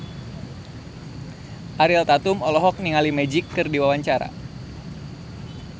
Ariel Tatum olohok ningali Magic keur diwawancara